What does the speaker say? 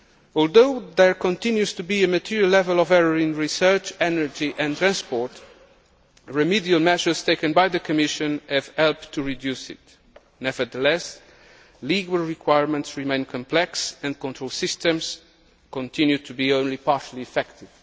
Although there continues to be a material level of error in Research, energy and transport, remedial measures taken by the Commission have helped to reduce it. Nevertheless, legal requirements remain complex and control systems continue to be only partially effective.